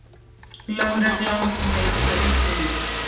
Lögregla neitaði því.